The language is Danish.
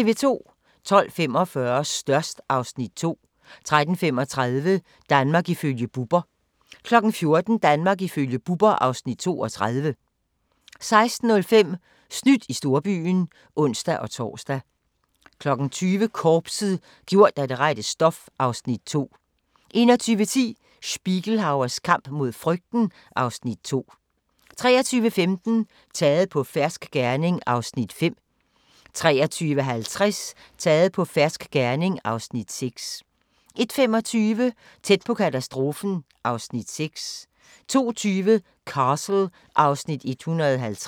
12:45: Størst (Afs. 2) 13:35: Danmark ifølge Bubber 14:00: Danmark ifølge Bubber (Afs. 32) 16:05: Snydt i storbyen (ons-tor) 20:00: Korpset - gjort af det rette stof (Afs. 2) 21:10: Spiegelhauers kamp mod frygten (Afs. 2) 23:15: Taget på fersk gerning (Afs. 5) 23:50: Taget på fersk gerning (Afs. 6) 01:25: Tæt på katastrofen (Afs. 6) 02:20: Castle (Afs. 150)